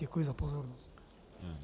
Děkuji za pozornost.